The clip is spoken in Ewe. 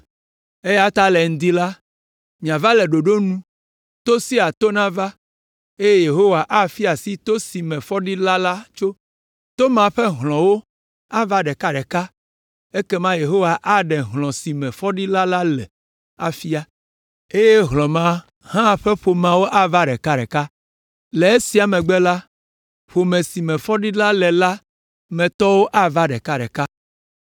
“ ‘Eya ta le ŋdi la, miava le ɖoɖo nu, to sia to nava, eye Yehowa afia asi to si me fɔɖila sia tso. To ma ƒe hlɔ̃wo ava ɖekaɖeka ekema Yehowa aɖe hlɔ̃ si me fɔɖila la le la afia, eye hlɔ̃ ma hã ƒe ƒomewo ava ɖekaɖeka. Le esia megbe la, ƒome si me fɔɖila la le la me tɔwo ava ɖekaɖeka.